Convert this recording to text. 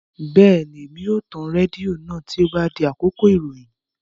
Bẹ́ẹ̀ni, mo máa tan rédíò náà tí ó bá di àkókò ìròyìn